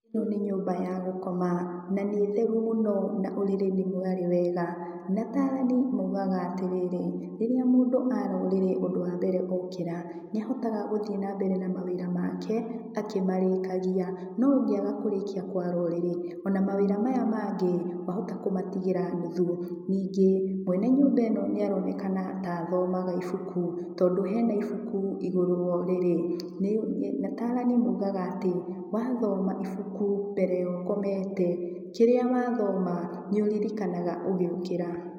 ĩno nĩ nyũmba ya gũkoma na nĩ theru mũno na ũrĩrĩ nĩ mware wega, na atarani maũgaga atĩrĩrĩ rĩria mũndũ ara ũrĩrĩ ũndũ wambere ũkera nĩahotaga gũthiĩ na mbere na mawĩra make akĩmarĩkagia no ũngega kũrĩkia kwara ũrĩrĩ ona mawĩra maya mangĩ wahota kũmatigĩra nũthũ. Ningĩ mwene nyũmba ĩno nĩaronekana ta athomaga ibuku, tondũ hena ibuku igũrũ wa ũrĩrĩ na atarani maugaga atĩ wathoma ibuku mbere ya ũkomete kĩrĩa wathoma nĩũririkanaga ũgĩũkĩra.